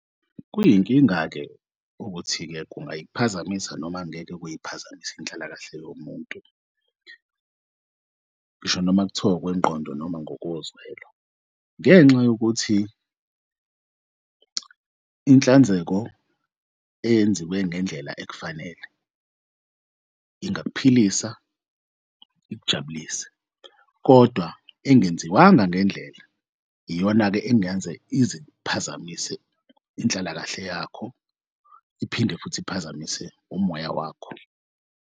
Kuyinkinga-ke ukuthi-ke kungayiphazamisa noma angeke kuyiphazamis'inhlalakahle yomuntu, ngisho noma kuthiwa ngokwengqondo noma ngokozwelo. Ngenxa yokuthi inhlanzeko eyenziwe ngendlela ekufanele ingakuphilisa ikujabulise kodwa engenziwanga ngendlela iyona-ke engaze izik'phazamise inhlalakahle yakho iphinde futhi iphazamise umoya wakho.